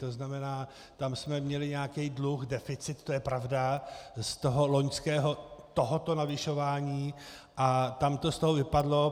To znamená, tam jsme měli nějaký dluh, deficit, to je pravda, z toho loňského tohoto navyšování a tam to z toho vypadlo.